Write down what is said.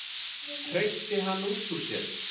hreytti hann út úr sér.